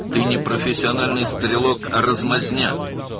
Sən peşəkar atıcı deyilsən, əksinə, cılızsansan!